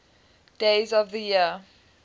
days of the year